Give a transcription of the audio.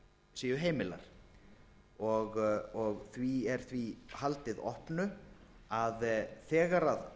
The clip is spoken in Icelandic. séu heimilar og því er því haldið opnu að þegar almannahagsmunirnir